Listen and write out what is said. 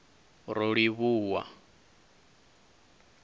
rolivhuwa